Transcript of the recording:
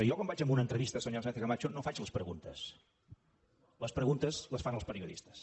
jo quan vaig a una entrevista senyora sánchez camacho no faig les preguntes les preguntes les fan els periodistes